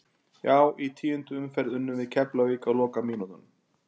Já í tíundu umferð unnum við Keflavík á lokamínútunum.